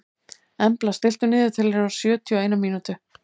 Embla, stilltu niðurteljara á sjötíu og eina mínútur.